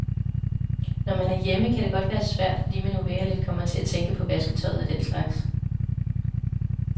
Når man er hjemme, kan det godt være svært, fordi man uvægerligt kommer til at tænke på vasketøjet og den slags.